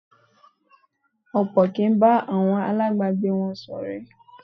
Ọ̀pọ̀ kì í bá àwọn aláàbágbé wọn ṣọ̀rẹ́.